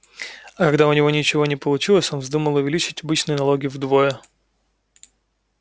а когда у него ничего не получилось он вздумал увеличить обычные налоги вдвое